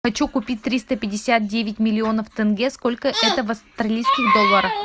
хочу купить триста пятьдесят девять миллионов тенге сколько это в австралийских долларах